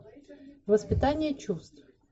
воспитание чувств